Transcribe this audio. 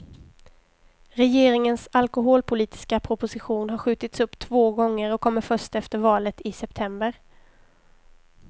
Regeringens alkoholpolitiska proposition har skjutits upp två gånger och kommer först efter valet i september.